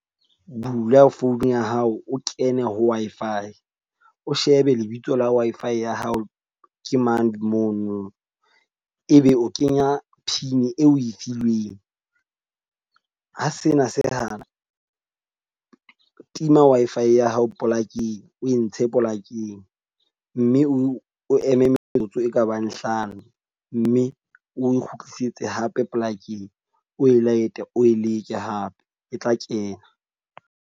Bula phone ya hao, o kene ho Wi-Fi. O shebe lebitso la Wi-Fi ya hao ke mang mono. E be o kenya pin eo o e filweng. Ha sena se hana, tima Wi-Fi ya hao polakeng o e ntshe polakeng mme o o eme metsotso e kabang hlano mme o kgutlisetse hape polakeng o e light-e o e leke hape e tla kena.